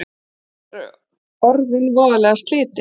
Þau eru orðin voðalega slitin